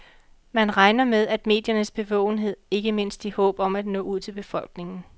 Man regner med mediernes bevågenhed, ikke mindst i håb om at nå ud til befolkningen.